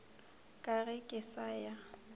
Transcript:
ka ge ke sa ya